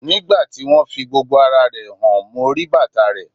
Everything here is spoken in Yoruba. Ní ìgbà tí wón fi gbogbo ara rẹ̀ hàn, mo rí bàtà reẹ̀.